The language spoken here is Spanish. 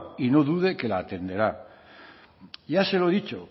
y no dude que la atenderá ya se lo dicho